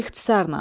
İxtisarla.